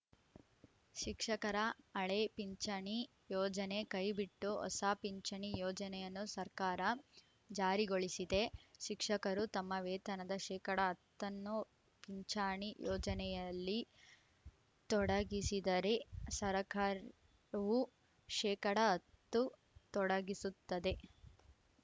ಶಿಕ್ಷಕರ ಹಳೆ ಪಿಂಚಣಿ ಯೋಜನೆ ಕೈಬಿಟ್ಟು ಹೊಸ ಪಿಂಚಣಿ ಯೋಜನೆಯನ್ನು ಸರಕಾರ ಜಾರಿಗೊಳಿಸಿದೆ ಶಿಕ್ಷಕರು ತಮ್ಮ ವೇತನದ ಶೇಕಡಾ ಹತ್ತ ನ್ನು ಪಿಂಚಣಿ ಯೋಜನೆಯಲ್ಲಿ ತೊಡಗಿಸಿದರೆ ಸರಕಾರವು ಶೇಕಡಾ ಹತ್ತು ತೊಡಗಿಸುತ್ತದೆ